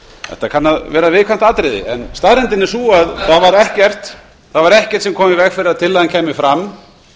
þetta kann að vera viðkvæmt atriði en staðreyndin er sú að það var ekkert sem kom í veg fyrir að tillagan kæmi fram